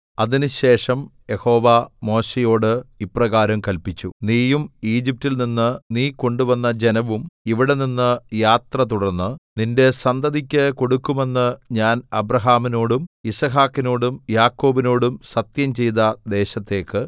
അതിനുശേഷം യഹോവ മോശെയോട് ഇപ്രകാരം കല്പിച്ചു നീയും ഈജിപ്റ്റിൽ നിന്ന് നീ കൊണ്ടുവന്ന ജനവും ഇവിടെനിന്ന് യാത്ര തുടർന്ന് നിന്റെ സന്തതിക്ക് കൊടുക്കുമെന്ന് ഞാൻ അബ്രാഹാമിനോടും യിസ്ഹാക്കിനോടും യാക്കോബിനോടും സത്യംചെയ്ത ദേശത്തേക്ക്